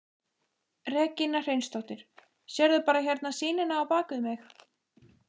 Regína Hreinsdóttir: Sérðu bara hérna sýnina á bakvið mig?